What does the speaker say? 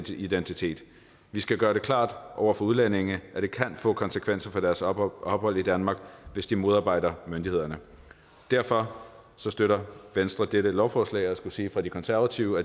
sin identitet vi skal gøre det klart over for udlændinge at det kan få konsekvenser for deres ophold ophold i danmark hvis de modarbejder myndighederne derfor støtter venstre dette lovforslag og jeg skulle sige fra det konservative